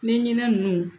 Ɲɛɲinɛn ninnu